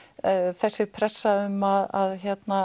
þessi pressa um að